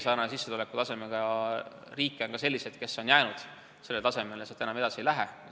Säärase sissetulekutasemega riike, nagu Eesti on, on ka niisuguseid, kes on jäänud sellele tasemele ja sealt enam edasi ei lähe.